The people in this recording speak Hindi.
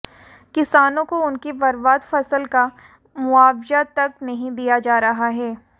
किसानों को उनकी बर्बाद फसल का मुआवजा तक नहीं दिया जा रहा है